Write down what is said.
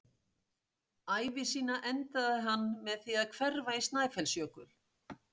Ævi sína endaði hann með því að hverfa í Snæfellsjökul.